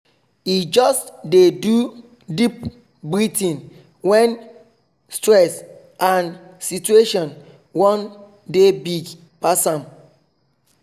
he just dey do deep breathing when when stress and situation wan dey big pass am